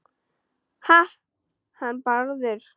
Ha- hann Bárður?